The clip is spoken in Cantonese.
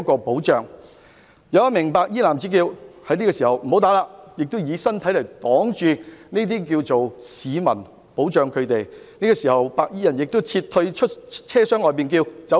當時，有一名白衣男子大叫"唔好打"，並以身體擋着市民，保護他們，此時，白衣人亦撤退至車廂外並叫道："走！